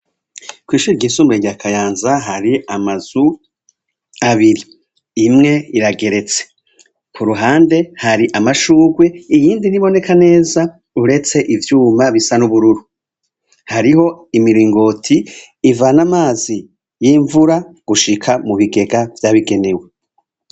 Kw'ishirwa insumbue ryakayanza hari amazu abiri imwe irageretse ku ruhande hari amashurwe iyindi riboneka neza uretse ivyuma bisa n'ubururu hariho imiringoti ivana amazi y'imvura gushika mu bigega vyabigenewe.